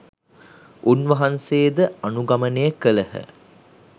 උන්වහන්සේ ද අනුගමනය කළහ.